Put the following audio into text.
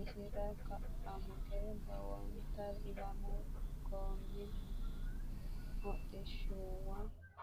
isira ka'a higge lowot lamu goommi hodhishshuwa woy motore nna sasu goommiti (baajaaje) hadhanni no.